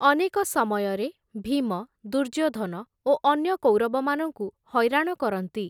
ଅନେକ ସମୟରେ ଭୀମ, ଦୁର୍ଯ୍ୟୋଧନ, ଓ ଅନ୍ୟକୌରବମାନଙ୍କୁ ହଇରାଣ କରନ୍ତି ।